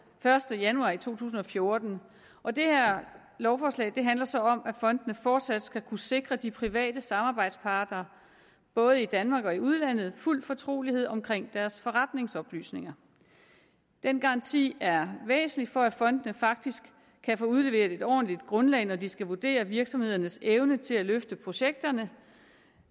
første januar to tusind og fjorten og det her lovforslag handler så om at fondene fortsat skal kunne sikre de private samarbejdspartnere både i danmark og i udlandet fuld fortrolighed om deres forretningsoplysninger den garanti er væsentlig for at fondene faktisk kan få udleveret et ordentligt grundlag når de skal vurdere virksomhedens evne til at løfte projekterne